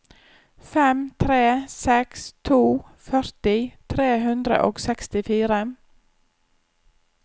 fem tre seks to førti tre hundre og sekstifire